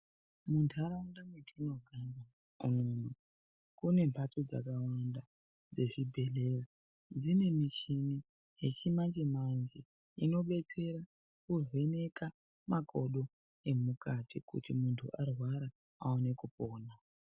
Muntaraunda mwetinogara kune mbatso dzakawanda dzezvibhedhleya. Dzine michini yechimanje manje inobetsera kuvheneka makodo emukati kuti muntu arwara awone kwekuona.